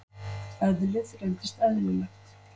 Eðlið reynist eðlilegt.